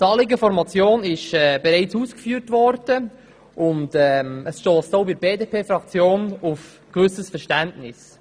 Das Anliegen der Motion ist bereits ausgeführt worden, und es stösst auch bei der BDP-Fraktion auf ein gewisses Verständnis.